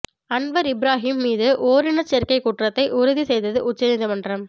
Anwar Ibrahim மீது ஓரினச் சேர்க்கை குற்றத்தை உறுதி செய்தது உச்சநீதிமன்றம்